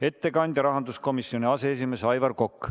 Ettekandja on rahanduskomisjoni aseesimees Aivar Kokk.